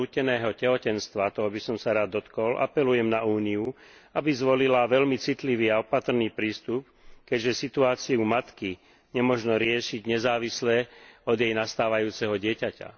núteného tehotenstva toho by som sa rád dotkol apelujem na Úniu, aby zvolila veľmi citlivý a opatrný prístup, keďže situáciu matky nemožno riešiť nezávislé od jej nastávajúceho dieťaťa.